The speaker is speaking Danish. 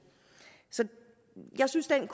så jeg synes at det